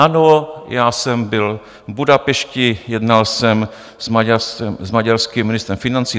Ano, já jsem byl v Budapešti, jednal jsem s maďarským ministrem financí.